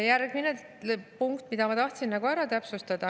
Järgmine punkt, mida ma tahtsin täpsustada.